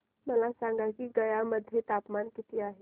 मला सांगा की गया मध्ये तापमान किती आहे